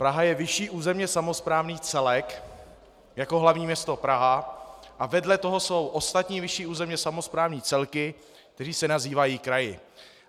Praha je vyšší územně samosprávný celek jako hlavní město Praha a vedle toho jsou ostatní vyšší územně samosprávné celky, které se nazývají kraji.